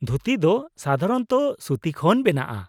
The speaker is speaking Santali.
ᱫᱷᱩᱛᱤ ᱫᱚ ᱥᱟᱫᱷᱟᱨᱚᱱᱚᱛᱚ ᱥᱩᱛᱤ ᱠᱷᱚᱱ ᱵᱮᱱᱟᱜᱼᱟ ᱾